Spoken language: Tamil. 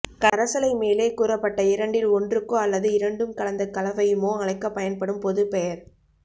கரைசலை மேலே கூறப்பட்ட இரண்டில் ஒன்றுக்கோ அல்லது இரண்டும் கலந்த கலவையுமோ அழைக்கப் பயன்படும் பொதுப்பெயர்